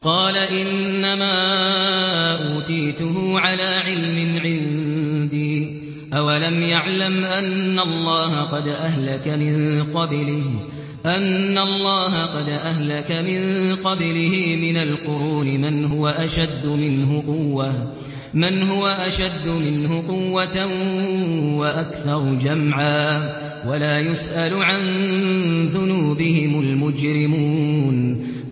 قَالَ إِنَّمَا أُوتِيتُهُ عَلَىٰ عِلْمٍ عِندِي ۚ أَوَلَمْ يَعْلَمْ أَنَّ اللَّهَ قَدْ أَهْلَكَ مِن قَبْلِهِ مِنَ الْقُرُونِ مَنْ هُوَ أَشَدُّ مِنْهُ قُوَّةً وَأَكْثَرُ جَمْعًا ۚ وَلَا يُسْأَلُ عَن ذُنُوبِهِمُ الْمُجْرِمُونَ